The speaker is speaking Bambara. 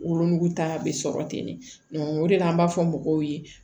Wolonugu ta bɛ sɔrɔ ten de o de la an b'a fɔ mɔgɔw ye